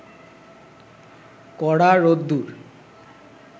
কড়া রোদ্দুর